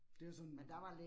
Det er sådan